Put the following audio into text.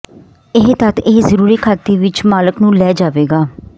ਇਹ ਤੱਥ ਇਹ ਜ਼ਰੂਰੀ ਖਾਤੇ ਵਿੱਚ ਮਾਲਕ ਨੂੰ ਲੈ ਜਾਵੇਗਾ